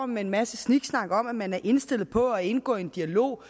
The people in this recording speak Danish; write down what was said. med en masse sniksnak om at man er indstillet på at indgå i en dialog